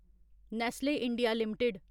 Nestle India limited